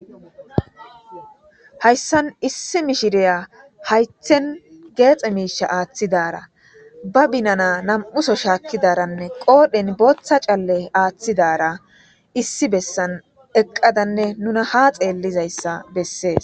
hayssan issi mishiriya haythen geexe miisha aaththidara ba binana nam7uso shaakkidaranne qoodhen booththa calle aaththidara issi bessan eqqadanne nuna ha xeellizayssa bessees